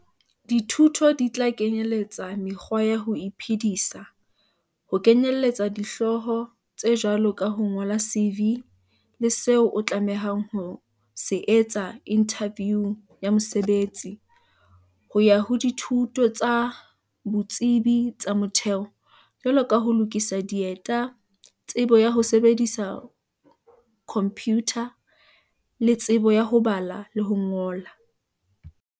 Dithuto di tla kenyeletsa mekgwa ya ho iphedisa - ho kenyeletsa dihlooho tse jwalo ka ho ngola CV le seo o tlamehang ho se etsa inthaviung ya mosebetsi, ho ya ho dithuto tsa botsebi ba motheo, jwalo ka ho lokisa dieta, tsebo ya ho sebedisa khomphiutha, le tsebo ya ho bala le ho ngola.